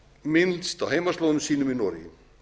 minnst á heimaslóðum sínum í noregi